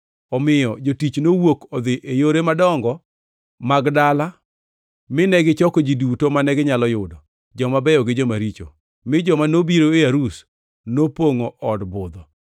Omiyo jotich nowuok odhi e yore madongo mag dala mine gichoko ji duto mane ginyalo yudo, joma beyo gi joma richo, mi joma nobiro e arus nopongʼo od budho.